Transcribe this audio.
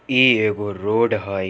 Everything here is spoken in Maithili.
ई एगो रोड हई।